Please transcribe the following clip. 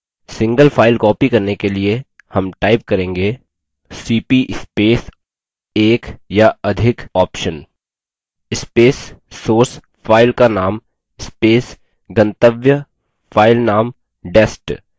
single file copy करने के लिए हम type करेंगेcp space एक या अधिक option space source file का name space गंतव्य file name dest